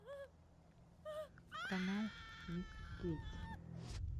канал мисс кейти